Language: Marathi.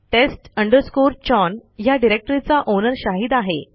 test chown ह्या डिरेक्टरीचा ओनर शाहिद आहे